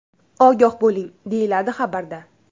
Ogoh bo‘ling!”, deyiladi xabarda.